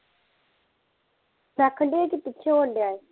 ਮੈਂ ਆਖਣ ਡਈ ਕੀ ਪਿੱਛੇ ਹੋਣ ਡਿਆ ਐ